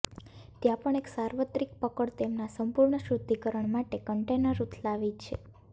ત્યાં પણ એક સાર્વત્રિક પકડ તેમના સંપૂર્ણ શુદ્ધિકરણ માટે કન્ટેનર ઉથલાવી છે